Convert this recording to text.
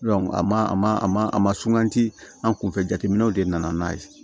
a ma a ma a ma a ma suganti an kunfɛ jateminɛw de nana n'a ye